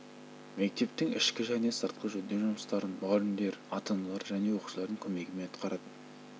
мектептің ішкі және сыртқы жөндеу жұмыстарын мұғалімдер ата-аналар және оқушылардың көмегімен атқаратын